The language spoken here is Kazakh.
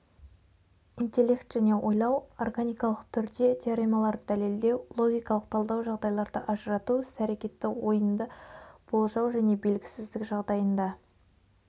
интеллект және ойлау органикалық түрде теоремаларды дәлелдеу логикалық талдау жағдайларды ажырату іс-әрекетті ойынды болжау және белгісіздік жағдайында